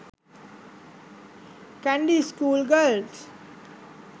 kandy school girls